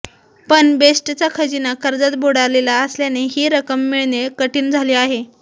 पण बेस्टचा खजिना कर्जात बुडालेला असल्याने ही रक्कम मिळणे कठीण झाले आहे